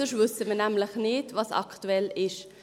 Denn sonst wissen wir nämlich nicht, was aktuell ist.